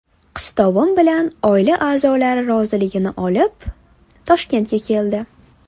Qistovim bilan oila a’zolari roziligini olib, Toshkentga keldi.